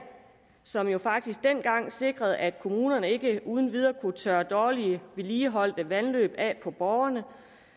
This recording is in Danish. som faktisk dengang sikrede at kommunerne ikke uden videre kunne tørre dårligt vedligeholdte vandløb af på borgerne